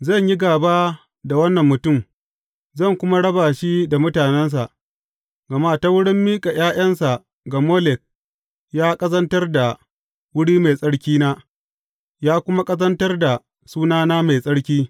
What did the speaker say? Zan yi gāba da wannan mutum, zan kuma raba shi da mutanensa; gama ta wurin miƙa ’ya’yansa ga Molek, ya ƙazantar da wuri mai tsarkina, ya kuma ƙazantar da sunana mai tsarki.